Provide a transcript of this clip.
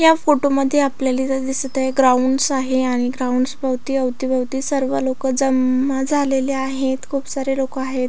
या फोटो मध्ये आपल्याला इथ दिसत आहे ग्राउंडस आहे आणि ग्राउंडस भोवती अवतीभवती सर्व लोकं जमाआ झालेले आहेत खूप सारे लोक आहेत.